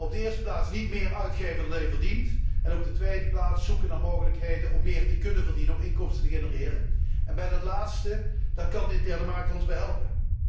In de eerste plaats niet meer uitgeven dan je verdient, en in de tweede plaats zoeken naar mogelijkheden om meer te kunnen verdienen, om inkomsten te genereren. Bij dat laatste kan de interne markt ons helpen.